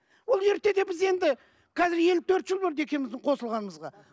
ол ертеде біз енді қазір елу төрт жыл болды екеуміздің қосылғанымызға